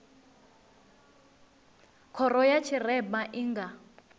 khoro ya tshirema i nga